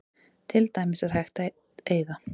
Til dæmis er hægt að eyða